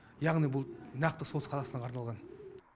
яғни бұл нақты солтүстік қазақстанға арналған